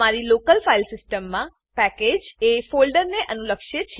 તમારી local file સીસ્ટમમાં package એ ફોલ્ડરને અનુલક્ષે છે